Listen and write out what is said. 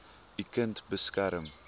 u kind beskerm